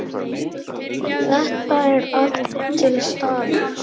Þetta er allt til staðar!